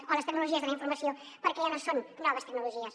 o les tecnologies de la informació perquè ja no són noves tecnologies